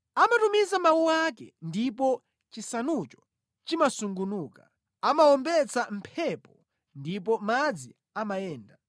Amatumiza mawu ake ndipo chisanucho chimasungunuka; amawombetsa mphepo ndipo madzi amayenda.